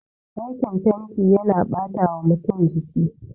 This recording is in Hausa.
Aikin fenti yana batawa mutum jiki